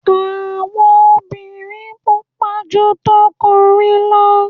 awo obìnrin pupa ju t'okunrin lọ